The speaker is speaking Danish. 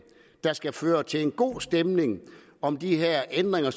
der skal føre til en god stemning om de her ændringer